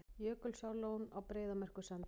Jökulsárlón á Breiðamerkursandi.